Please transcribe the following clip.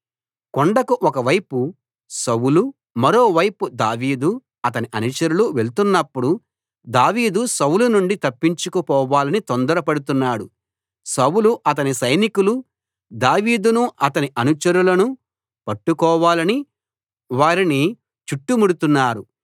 కొండకు ఒకవైపు సౌలు మరోవైపు దావీదు అతని అనుచరులు వెళ్తున్నపుడు దావీదు సౌలు నుండి తప్పించుకుపోవాలని తొందరపడుతున్నాడు సౌలు అతని సైనికులు దావీదును అతని అనుచరులను పట్టుకోవాలని వారిని చుట్టుముడుతున్నారు